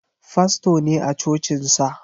Fasto ne a cocinsa.